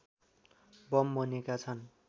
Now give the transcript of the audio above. bomb बनेका छन्